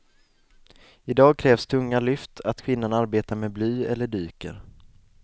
I dag krävs tunga lyft, att kvinnan arbetar med bly eller dyker.